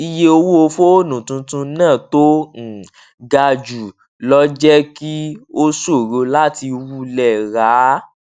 iye owó fóònù tuntun náà tó uhm ga jù lọ jẹ́ kí ó ṣòro láti wulẹ̀ rà á.